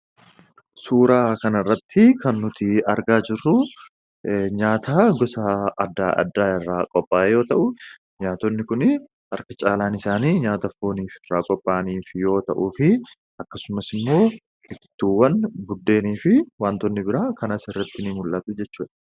suuraa kan irratti kan nuti argaa jirru nyaata gosaa addaa addaa irraa qophaa yoo ta'u nyaatonni kun arka caalaan isaanii nyaata foonii f iraa qopha'aniif yoo ta'uu fi akkasumas immoo hitittuuwwan buddeenii fi wantoonni biraa kanaas irrattinii mul'aabi jechue